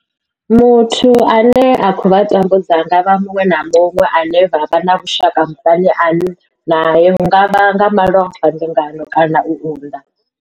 Muthu ane a khou vha tambudza a nga vha muṅwe na muṅwe ane vha vha na vhushaka muṱani nae hu nga vha nga malofha, mbingano kana u unḓa.